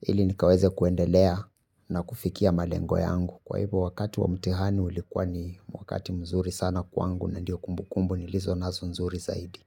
ili nikaweze kuendelea na kufikia malengo yangu. Kwa hivyo wakati wa mtihani ulikuwa ni wakati mzuri sana kwangu na ndio kumbu kumbu nilizo nazo nzuri zaidi.